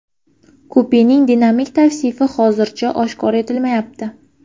Kupening dinamik tavsifi hozircha oshkor etilmayapti.